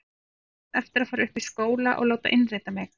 Á samt eftir að fara upp í skóla og láta innrita mig.